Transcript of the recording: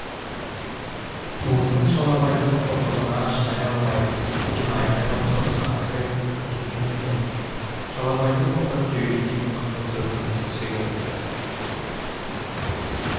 туысың шалабайдың қорлығына шыдай алмай сені айқайлап тұрып шақырып ем естіген екенсің шалабайдың былтыр күйеуге тиген қызы төркініне түсе келіпті